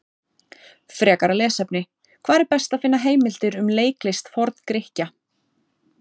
Frekara lesefni: Hvar er best að finna heimildir um leiklist Forn-Grikkja?